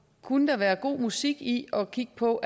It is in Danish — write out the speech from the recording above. kunne der være god musik i at kigge på